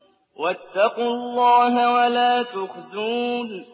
وَاتَّقُوا اللَّهَ وَلَا تُخْزُونِ